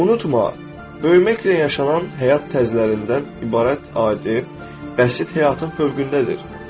Unutma, böyüməklə yaşanan həyat tərzlərindən ibarət adi, bəsit həyatın fövqündədir.